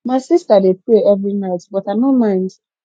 my sista dey pray every night but i no mind